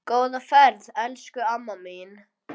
Góða ferð, elsku amma mín.